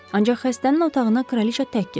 Ancaq xəstənin otağına kraliçə tək keçdi.